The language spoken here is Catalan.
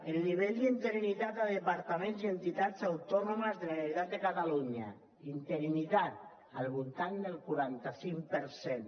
el nivell d’interinitat a departaments i entitats autònomes de la generalitat de catalunya interinitat al voltant del quaranta cinc per cent